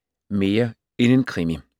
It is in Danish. Mere end en krimi